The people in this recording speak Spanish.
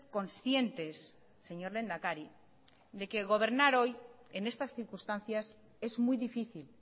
conscientes señor lehendakari de que gobernar hoy en estas circunstancias es muy difícil